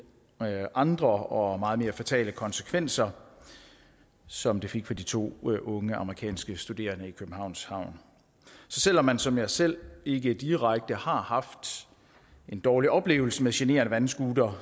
andre og meget mere fatale konsekvenser som det fik for de to unge amerikanske studerende i københavns havn så selv om man som jeg selv ikke direkte har haft en dårlig oplevelse med generende vandscootere